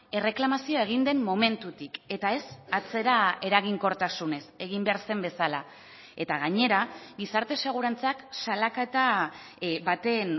erreklamazioa egin den momentutik eta ez atzera eraginkortasunez egin behar zen bezala eta gainera gizarte segurantzak salaketa baten